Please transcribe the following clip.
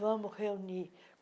Vamos reunir.